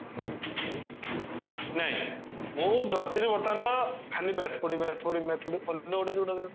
ନାଇଁ ବର୍ତମାନ ଖାଲି math ପଢିବି math ପଢିବି math ପଢିବି ଅନ୍ୟ ଗୁଡା ଯଉଟା